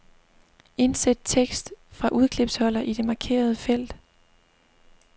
Indsæt tekst fra udklipsholder i det markerede felt.